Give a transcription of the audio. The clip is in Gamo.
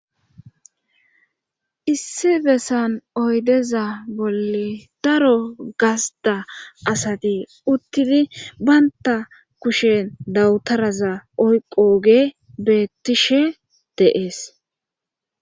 issi bessan oydeza bolle daro gasda asati uttidi baynta kushen dawutaraza oyqoge beettishe deees